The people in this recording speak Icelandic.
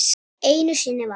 Einu sinni var.